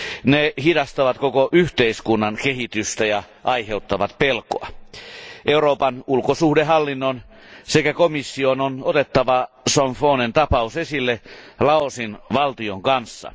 Ne hidastavat koko yhteiskunnan kehitystä ja aiheuttavat pelkoa. Euroopan ulkosuhdehallinnon sekä komission on otettava Somphonen tapaus esille Laosin valtion kanssa.